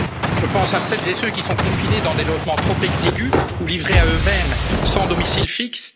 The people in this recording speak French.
Je pense à celles et ceux qui sont confinés dans des logements trop exigus ou livrés à eux mêmes sans domicile